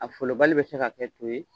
A folobali bɛ se ka kɛ to ye